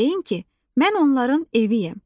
Deyin ki, mən onların eviyəm.